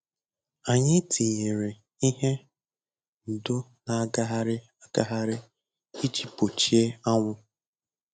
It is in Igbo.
Anyị tinyere ihe ndo na-agagharị agagharị iji gbochie anwụ.